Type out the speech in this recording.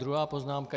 Druhá poznámka.